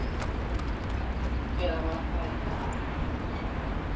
Eða var það í dag?